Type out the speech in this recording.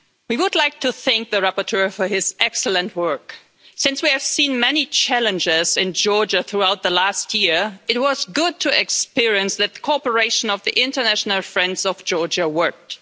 Madam President, we would like to thank the rapporteur for his excellent work. Since we have seen many challenges in Georgia throughout the past year, it was good to see that cooperation among the international friends of Georgia worked.